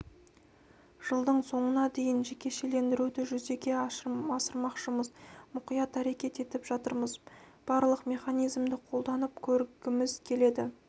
жылдың соңына дейін жекешелендіруді жүзеге асырмақшымыз мұқият әрекет етіп жатырмыз барлық механизмді қолданып көргіміз келеді